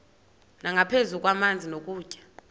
nangaphezu kwamanzi nokutya